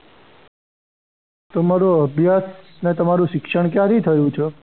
તમારો અભ્યાસ અને તમારો શિક્ષણ ક્યાંથી થયું છે?